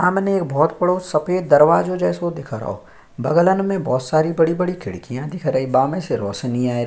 सामने एक बोहोत बड़ो सफ़ेद दरवाजो जैसो दिख रहो बगलन में बोहोत सारी बड़ी-बड़ी खिडकियाँ दिख रही है बामे से रौशनी आ रही ।